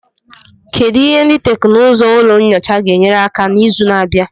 Kedu ihe ndị teknụzụ ụlọ nyocha ga-enyere aka na izu na-abịa?